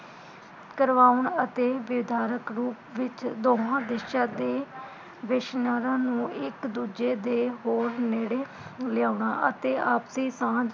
ਕਰਵਾਉਣ ਅਤੇ ਵਿਧਾਰਕ ਰੂਪ ਵਿਚ ਦੋਹਾਂ ਦੇਸ਼ਾਂ ਤੇ ਦਿਸ਼ਨਾਰਾ ਨੂੰ ਇਕ ਦੂਜੇ ਦੇ ਬੋਹੋਤ ਨੇੜੇ ਲਿਆਉਣਾ ਅਤੇ ਆਪਦੀ ਥਾ